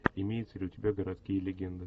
имеется ли у тебя городские легенды